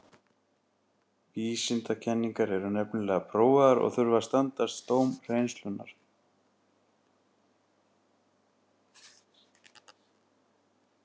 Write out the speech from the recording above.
Vísindakenningar eru nefnilega prófaðar og þurfa að standast dóm reynslunnar.